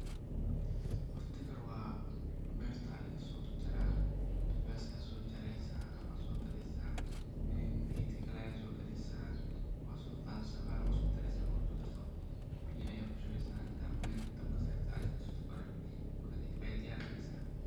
Horta oga hore bertaa laga so jaraa basbaska so jaresaa ama so gadesaa ,gedka kale ayaad so qadesa waa so qadesaa bahalka waa isku daresaa , markad isku dartoo biyo ayaad kushubesha inta mel dabka sarta aad jarjarto ega hore, markaa kadib ayaa diyarinesa.